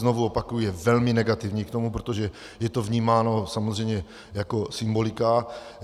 Znovu opakuji, je velmi negativní k tomu, protože je to vnímáno samozřejmě jako symbolika.